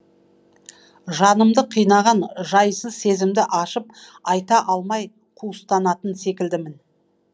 жанымды қинаған жайсыз сезімді ашып айта алмай қуыстанатын секілдімін